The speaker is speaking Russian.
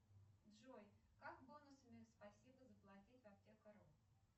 джой как бонусами спасибо заплатить в аптека ру